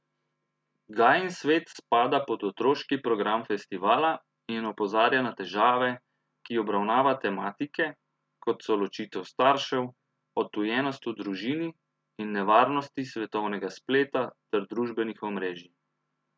Gajin svet spada pod otroški program festivala in opozarja na težave, ki obravnava tematike, kot so ločitev staršev, odtujenost v družini in nevarnosti svetovnega spleta ter družbenih omrežij.